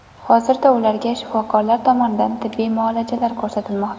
Hozirda ularga shifokorlar tomonidan tibbiy muolajalar ko‘rsatilmoqda.